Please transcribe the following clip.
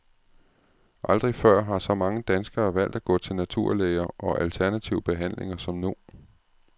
Aldrig før har så mange danskere valgt at gå til naturlæger og alternative behandlinger som nu.